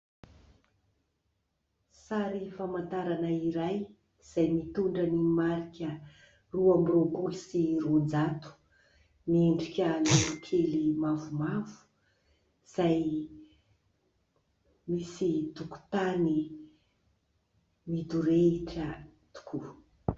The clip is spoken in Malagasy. sary famantarana iray izay mitondra ny marika roa amby roapolo sy roan-jato miendrika lolokely mavomavo izay misy tokon-tany midorehitra tokoa